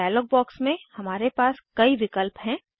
dialogue box में हमारे पास कई विकल्प हैं